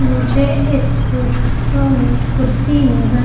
मुझे इस फोटो में कुर्सी नजर--